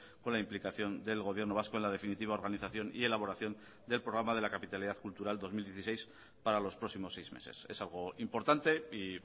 con la implicación del gobierno vasco en la definitiva organización y elaboración del programa de la capitalidad cultural dos mil dieciséis para los próximos seis meses es algo importante y